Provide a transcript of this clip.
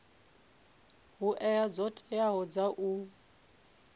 hoea dzo teaho dza u